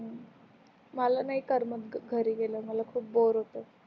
हु मला नाही करमत ग घरी गेल्यावर मला खूप बोर होत